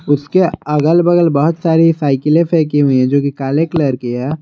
उसके अगल बगल बहुत सारी साईकिलें फेंकी हुई है जो कि काले कलर की है।